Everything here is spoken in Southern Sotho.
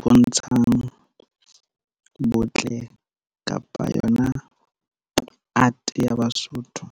bontshang botle kapa yona art ya Basotho.